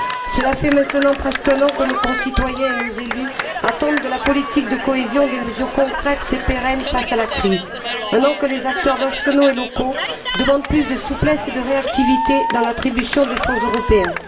Cela fait maintenant presque un an que nos concitoyens et nos élus attendent de la politique de cohésion des mesures concrètes et pérennes face à la crise, un an que les acteurs nationaux et locaux demandent plus de souplesse et de réactivité dans l'attribution des fonds européens.